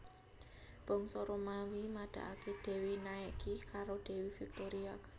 Bangsa Romawi madakake Dewi Nike karo Dewi Victoria